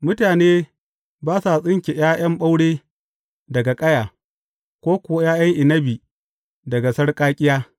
Mutane ba sa tsinke ’ya’yan ɓaure daga ƙaya, ko kuwa ’ya’yan inabi daga sarƙaƙƙiya.